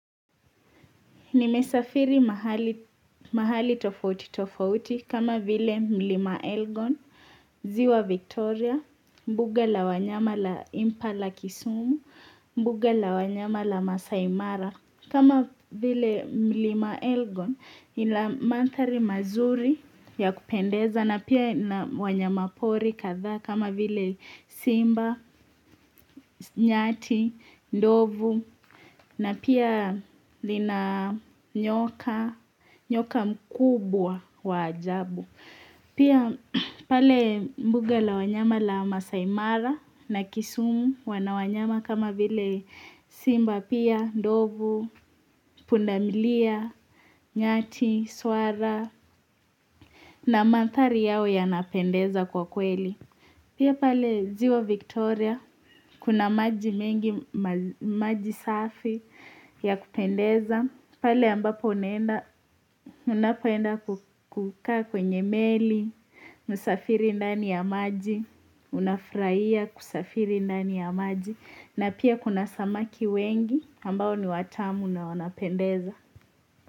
Nimesafiri mahali tofauti tofauti kama vile mlima Elgon, ziwa Victoria, mbuga la wanyama la Impala Kisumu, mbuga la wanyama la Maasaimara. Kama vile mlima elgon ila mantari mazuri ya kupendeza na pia wanyama pori kadhaa kama vile simba, nyati, ndovu na pia lina nyoka, nyoka mkubwa wa ajabu. Pia pale mbuga la wanyama la masaaimara na kisumu wanawanyama kama vile simba pia, ndovu, pundamilia, nyati, swara na manthari yao yanapendeza kwa kweli. Pia pale ziwa Victoria, kuna maji mengi maji safi ya kupendeza, pale ambapo unapoenda kukaa kwenye meli, musafiri ndani ya maji, unafurahia kusafiri ndani ya maji, na pia kuna samaki wengi ambao ni watamu na wanapendeza.